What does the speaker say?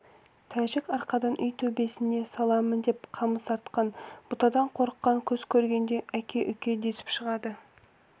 тәжік арқадан үй төбесіне саламын деп қамыс артқан бұтадан қорыққан көз көргенде әке-үке десіп шығып